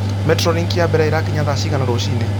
Metrolink ya mbere irakinya thaa cigana rũcinĩ